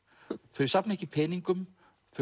þau safna ekki peningum þau